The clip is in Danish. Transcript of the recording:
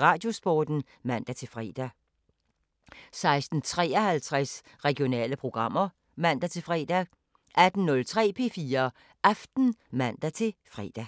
Radiosporten (man-fre) 16:53: Regionale programmer (man-fre) 18:03: P4 Aften (man-fre)